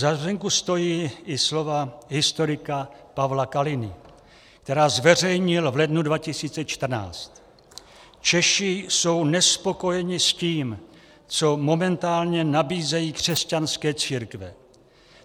Za zmínku stojí i slova historika Pavla Kaliny, která zveřejnil v lednu 2014: "Češi jsou nespokojeni s tím, co momentálně nabízejí křesťanské církve.